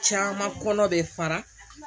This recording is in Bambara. Caman kɔnɔ be fara